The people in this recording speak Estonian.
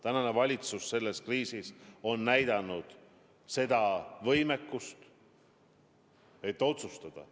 Tänane valitsus on selles kriisis näidanud võimet otsustada.